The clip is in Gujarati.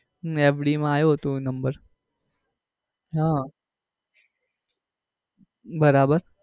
મેવડી માં આવ્યો હતો number હમ બરાબર